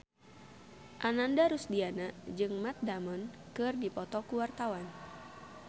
Ananda Rusdiana jeung Matt Damon keur dipoto ku wartawan